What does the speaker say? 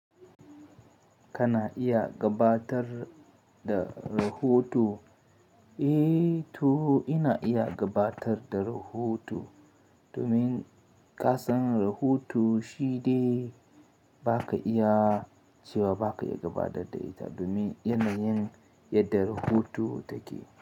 Kana iya gabatar da rahoto? Eh, to ina iya gabatar da rahoto domin ƙasan rahoto shide ba ka iya cewa ba ka iya gabatar da ita domin yanayin yadda rahoto take.